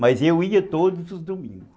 Mas eu ia todos os domingos.